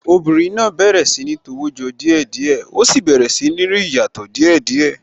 Obìnrin náà bẹ̀rẹ̀ sí ní tọwọ́ jọ díẹ̀ díẹ̀, ó sì bẹ̀rẹ̀ sí ní rí ìyàtọ̀ díè díẹ̀